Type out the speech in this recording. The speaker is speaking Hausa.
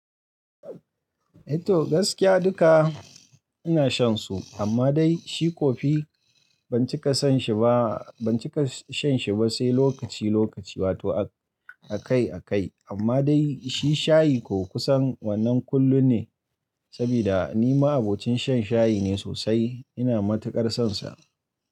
Eh to gaskiya duka ina shan su amma dai shi kofi ban cika san shi ba, ban cika shan shi ba sai lokaci lokaci wato akai akai amma dai shi shayi ko kusan wannan kullum ne saboda ni ma abokin shan shayi ne sosai ina matuƙar sonsa.